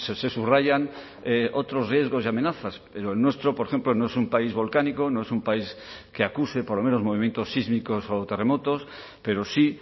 se subrayan otros riesgos y amenazas pero el nuestro por ejemplo no es un país volcánico no es un país que acuse por lo menos movimientos sísmicos o terremotos pero sí